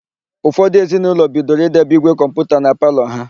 Ụfọdụ ezinaụlọ bidoro idebe ígwè kọmputa na palọ ha.